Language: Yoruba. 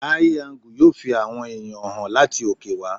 Áí angú yóò fi àwọn ẹ̀yàn hàn láti òkè wá.